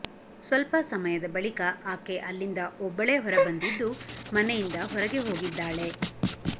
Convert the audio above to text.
ಸ್ವಲ್ಪ ಸಮಯದ ಬಳಿಕ ಆಕೆ ಅಲ್ಲಿಂದ ಒಬ್ಬಳೇ ಹೊರಬಂದಿದ್ದು ಮನೆಯಿಂದ ಹೊರಗೆ ಹೋಗಿದ್ದಾಳೆ